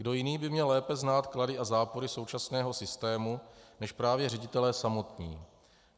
Kdo jiný by měl lépe znát klady a zápory současného systému než právě ředitelé samotní?